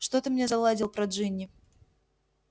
что ты мне заладил про джинни